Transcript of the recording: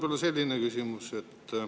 Mul on selline küsimus.